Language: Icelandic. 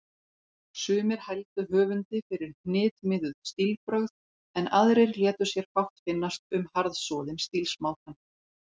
Sumir hældu höfundi fyrir hnitmiðuð stílbrögð, en aðrir létu sér fátt finnast um harðsoðinn stílsmátann.